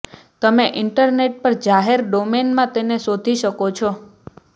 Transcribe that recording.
તમે ઇન્ટરનેટ પર જાહેર ડોમેન માં તેને શોધી શકો છો